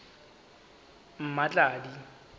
mmatladi